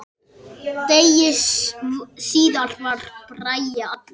Degi síðar var Bragi allur.